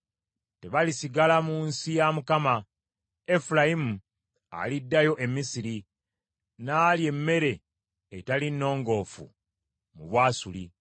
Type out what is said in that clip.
Tebalisigala mu nsi ya Mukama ; Efulayimu aliddayo e Misiri n’alya emmere etali nnongoofu mu Bwasuli.